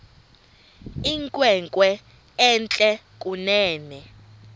inkwenkwe entle kunene